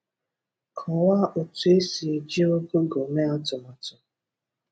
Kọ̀wàà otu esi eji Ụgụgụ mee àtùmàtù.